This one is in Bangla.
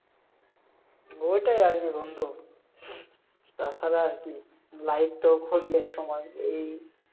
ওইটাই আর কি বন্ধু। তা ছাড়া আর কি, life তো ক্ষণিক এর সময় এই